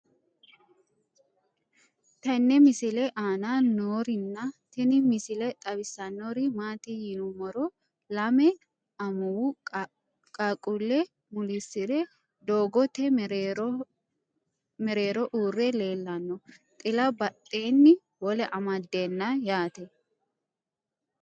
tenne misile aana noorina tini misile xawissannori maati yinummoro lame amuwu qaaquule muliisire doggotte mereerro uure leellanno xila badheenni wole amadeenna yaatte